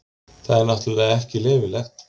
Það er náttúrulega ekki leyfilegt.